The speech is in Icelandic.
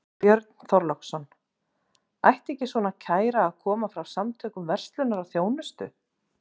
Björn Þorláksson: Ætti ekki svona kæra að koma frá Samtökum verslunar og þjónustu?